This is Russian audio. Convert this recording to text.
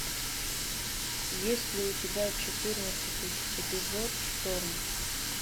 есть ли у тебя четырнадцатый эпизод шторм